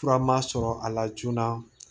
Fura ma sɔrɔ a la joona